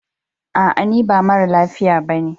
A'a, ni ba mara lafiya ne ba.